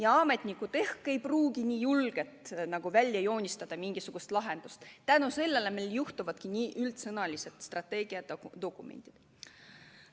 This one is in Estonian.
Ent ametnikud ei pruugi neid lahendusi nii julgelt välja joonistada ning seetõttu tekivadki sellised üldsõnalised strateegiadokumendid.